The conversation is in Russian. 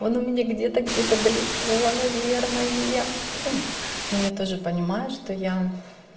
он у меня где-то где-то далеко наверное но я тоже понимаю что я